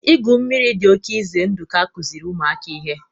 igwu mmiri dị oke ize ndụ ka akụziri ụmụaka ihe